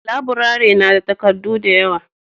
laburare na da takardu da yawa